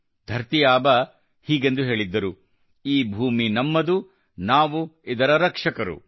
ಧರತೀ ಆಬಾ ಅವರು ಹೀಗೆಂದು ಹೇಳಿದ್ದರು ಈ ಭೂಮಿ ನಮ್ಮದು ನಾವು ಇದರ ರಕ್ಷಕರು